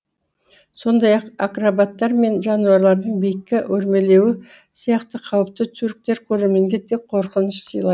сондай ақ акробаттар мен жануарлардың биікке өрмелеуі сияқты қауіпті тюрктер көрерменге тек қорқыныш сыйлай